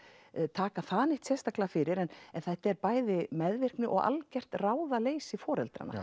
taka það neitt sérstaklega fyrir en þetta er bæði meðvirkni og allgjört ráðaleysi foreldra